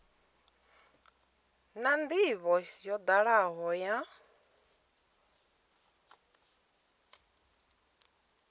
na ndivho yo dalaho ya